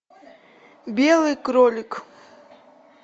белый кролик